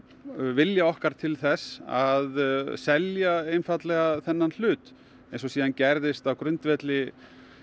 vilja okkar til þess að selja einfaldlega þennan hlut eins og síðan gerðist á grundvelli